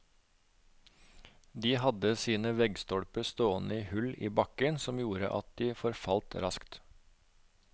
De hadde sine veggstolper stående i hull i bakken som gjorde at de forfalt raskt.